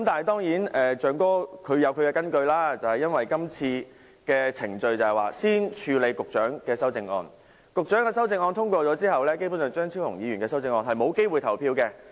當然，"象哥"有其根據，因為會議議程先處理局長的修正案，若局長的修正案獲得通過，張超雄議員的修正案便沒有機會表決。